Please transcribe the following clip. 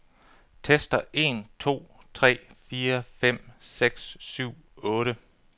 Tester en to tre fire fem seks syv otte.